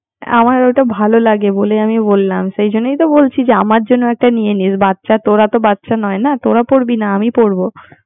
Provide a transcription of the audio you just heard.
আমার ওটা ভালো লাগেবলে আমি বললামসে জন্যই তো বলছিআমার জন্য একটি নিয়ে নিসতোরা তো বাচ্চা নয়তোরা পরবি না আমি পরব